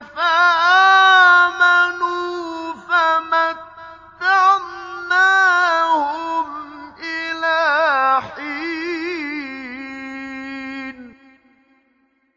فَآمَنُوا فَمَتَّعْنَاهُمْ إِلَىٰ حِينٍ